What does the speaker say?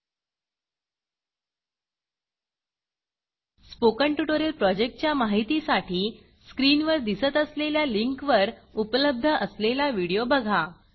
spoken tutorial प्रॉजेक्टच्या माहितीसाठी स्क्रीनवर दिसत असलेल्या लिंकवर उपलब्ध असलेला व्हिडिओ बघा